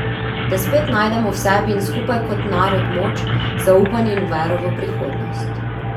Da spet najdemo v sebi in skupaj kot narod moč, zaupanje in vero v prihodnost.